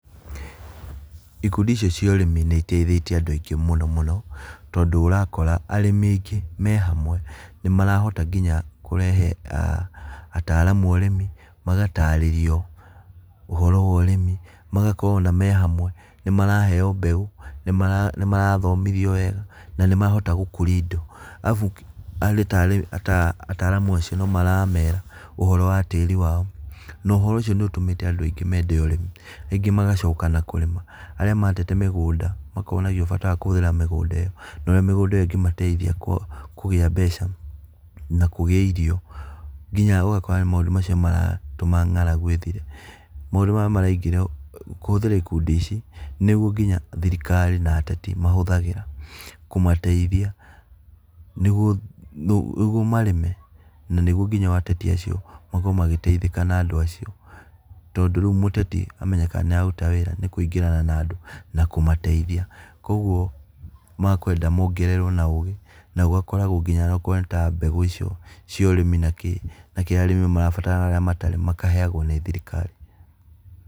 Ikundi icio cia ũrĩmi nĩ iteithĩtie andu aingĩ mũno mũno tondũ ũrakora arĩmi aingĩ mehamwe nĩ marahota nginya kũrehe ataramu a ũrĩmi magatarĩrio, ũhoro wa ũrĩmi, magakorwo ona me hamwe nĩ maraheo mbeũ nĩ mara nĩ marathomithio wega na nĩ marahota gũkũria indo. Arabu nginya ata ataramu acio nĩ maramera ũhoro wa tĩri wao, na ũhoro ũcio nĩ ũtũmĩte andũ aingĩ mende ũrĩmi, rĩngĩ magacoka na kũrĩma, arĩa matete mĩgũnda makonagio bata wa kũhũthĩra mĩgũnda ĩyo na ũrĩa mĩgũnda ĩyo ĩngĩmateithia kũ kũgĩa mbeca na kugĩa irio. Nginya ũgakora maũndũ macio nĩ maratũma ng'aragu ĩthire, maũndũ maya marekĩrwo kũhũthĩra ikundi ici nĩguo nginya thirikari na ateti mahũthagĩra kũmateithia nĩguo, nĩguo marĩme na nĩguo nginya ateti acio makorwo magĩteithĩka na andũ acio. Tondũ rĩu mũteti amenyekaga nĩ araruta wĩra nĩ kũingĩrana na andũ na kũmateithia koguo makwenda mongererwo na ũgĩ na gugakoragwo nginya akorwo nĩ mbegũ icio cia ũrĩmi na kĩĩ na kĩrĩa arĩmi marabatara na kĩria matarĩ makaheagwo nĩ thirikari.